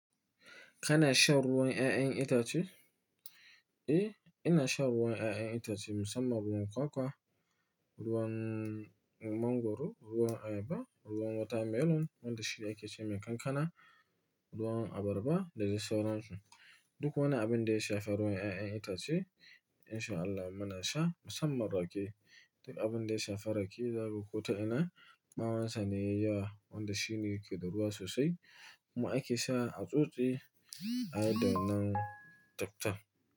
Kana shan ruwan ƴaƴan itace? Eh, ina shan ruwan ƴaƴan itace musamman ruwan kwakwa, ruwan mangwaro, ruwan ayaba, ruwan watermelon wanda shi ake ce mai kankana, ruwan abarba da dai sauran su. Duk wani abin da ya shafi ruwan ƴaƴan itace insha Allah muna sha musamman rake. Duk abin da ya shafi rake zaka ga ko ta ina, ɓawansa ne yayi yawa wanda shi ne yake da ruwa sosai. Kuma ake sha a tsotse a yadda wannan taktan.